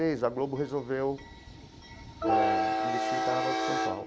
Seis, a Globo resolveu eh investir no Carnaval de São Paulo.